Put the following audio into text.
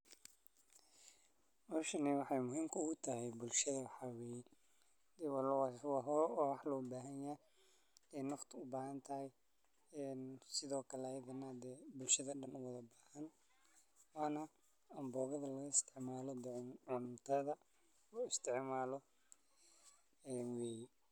Howshani waxey muhiimka ugutahay bulshada waxa weye waa wax loobahan yahy e nafta ubaahantahy sidhookale ayagana bulshada dan uwadha baahan waana amboogadha lagaisticmalo cuntadha looisticmalo weye.